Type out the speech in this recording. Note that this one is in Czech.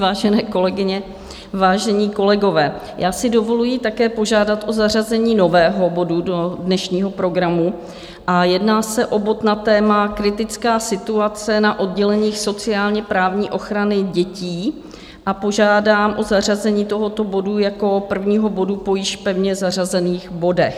Vážené kolegyně, vážení kolegové, já si dovoluji také požádat o zařazení nového bodu do dnešního programu, jedná se o bod na téma Kritická situace na odděleních sociálně-právní ochrany dětí a požádám o zařazení tohoto bodu jako prvního bodu po již pevně zařazených bodech.